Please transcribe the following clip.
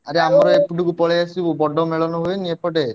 ଆରେ ଆମର ଏପଟକୁ ପଳେଇଆସିବୁ ବଡ ମେଳଣ ହୁଏନି କି ଏପଟେ?